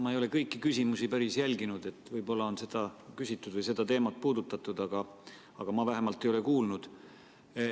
Ma ei ole kõiki küsimusi päris jälginud, võib-olla on seda juba küsitud või seda teemat puudutatud, aga ma vähemalt ei ole kuulnud.